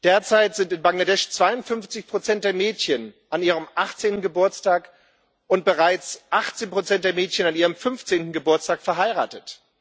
Derzeit sind in Bangladesch 52 Prozent der Mädchen an ihrem 18. Geburtstag und bereits 18 Prozent der Mädchen an ihrem 15. Geburtstag verheiratet.